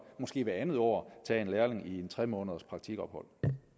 måske hvert andet år tage en lærling i et tre måneders praktikophold